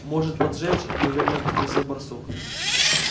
может поджечь неуверенно спросил барсук